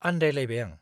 आन्दायलायबाय आं।